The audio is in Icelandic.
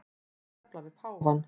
Að tefla við páfann